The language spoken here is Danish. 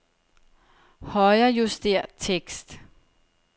Højrejuster tekst.